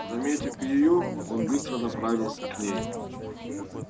заметив её он быстро направился к ней